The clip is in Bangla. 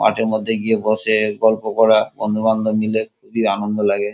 মাঠের মধ্যে গিয়ে বসে গল্প করা বন্ধুবান্ধব মিলে খুবই আনন্দ লাগে।